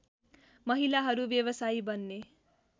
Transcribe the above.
महिलाहरू व्यवसायी बन्ने